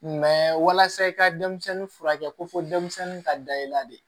walasa i ka denmisɛnnin furakɛ ko fɔ denmisɛnnin ka da i la de